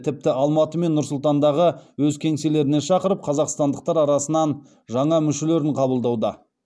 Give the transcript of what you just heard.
тіпті алматы мен нұр сұлтандағы өз кеңселеріне шақырып қазақстандықтар арасынан жаңа мүшелерін қабылдауда